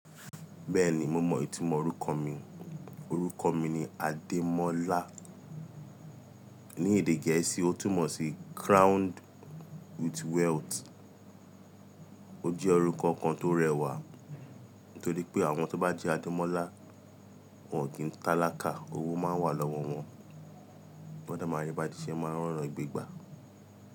Bẹ́ẹ̀ni mo mọ ìtumọ̀ orúkọ mí, orúkọ mi ni Adémọ́lá. Ni èdè Gẹ̀ẹ́sì ó túmọ̀ sí crowned with wealth. Ó jẹ́ orúkọ kan tó rẹwà nítorí pé àwọn tó bá ń jẹ́ Adémọ́lá wọn ò kí ń tálákà, owó máa ń wà lọ́wọ́ wọn. Wọ́n dẹ̀ máa ń ri i bá tí ṣé wọ́n máa ń rọ́nà gbe gbà.